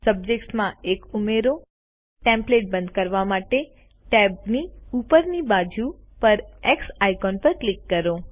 સબ્જેક્ટમાં 1 ઉમેરો ટેમ્પ્લેટ બંદ કરવા માટેટેબ ની ઉપર ડાબી બાજુ પર એક્સ આઇકોન પર ક્લિક કરો